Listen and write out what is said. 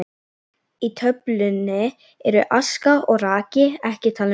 Í töflunni eru aska og raki ekki talin með.